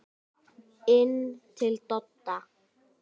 Inn til Dodda.